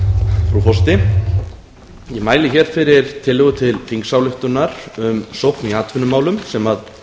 frú forseti ég mæli fyrir tillögu til þingsályktunar um sókn í atvinnumálum sem